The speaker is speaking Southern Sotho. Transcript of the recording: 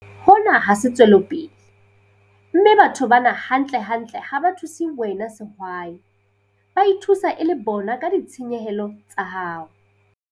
Hona ha se tswelopele, mme batho bana hantlentle ha ba thuse wena sehwai. Ba ithusa e le bona ka ditshenyehelo tsa hao.